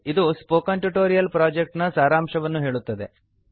ಇದು spoken tutorial project ನ ಸಾರಾಂಶವನ್ನು ಹೇಳುತ್ತದೆ